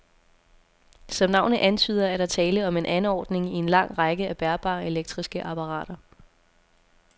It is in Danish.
Som navnet antyder, er der tale om en anordning i en lang række af bærbare elektriske apparater.